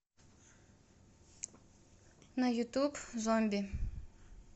на ютуб зомби